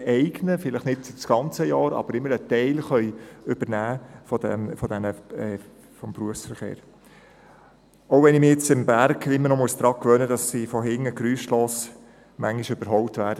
Vielleicht eignen sie sich nicht für das ganze Jahr, aber immerhin könnten sie einen Teil des Berufsverkehrs übernehmen, auch wenn ich mich am Berg immer noch daran gewöhnen muss, dass ich manchmal geräuschlos überholt werde.